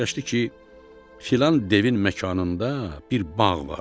Fikirləşdi ki, filan devin məkanında bir bağ var.